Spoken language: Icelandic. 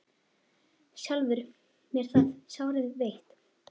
sjálfur mér það sárið veitt